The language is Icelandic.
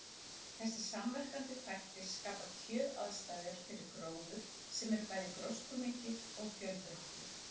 Þessir samverkandi þættir skapa kjöraðstæður fyrir gróður sem er bæði gróskumikill og fjölbreyttur.